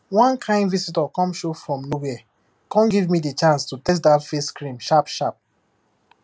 one kain visitor come show from nowhere come gave me di chance to test dat face cream sharp sharp